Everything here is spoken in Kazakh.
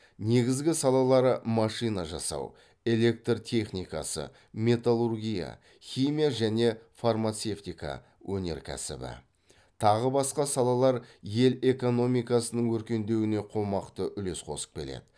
негізгі салалары машина жасау электр техникасы металлургия химия және фармацевтика өнеркәсібі тағы басқа салалар ел экономикасының өркендеуіне қомақты үлес қосып келеді